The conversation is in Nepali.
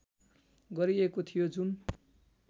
गरिएको थियो जुन